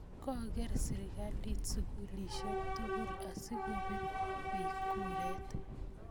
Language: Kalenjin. kakeer sirikalit sukulielsiek tugul asikopiir biik kuret